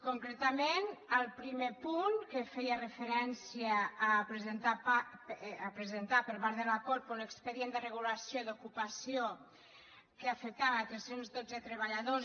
concretament el primer punt que feia referència a presentar per part de la corpo un expedient de regulació d’ocupació que afectava tres cents i dotze treballadors